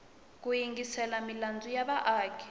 ku yingisela milandzu ya vaaki